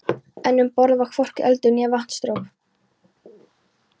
En um borð var hvorki eldur né vatnsdropi.